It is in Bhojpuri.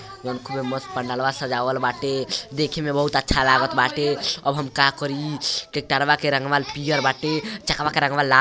जउन खूबे मस्त पंडलवा सजावल बाटे। देखे में बहुत अच्छा लागल बाटे। अब हम का करी टेक्टरवा के रंग पियर बाटे चकवा के रंगवा ला --